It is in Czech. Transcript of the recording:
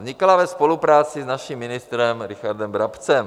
Vznikala ve spolupráci s naším ministrem Richardem Brabcem.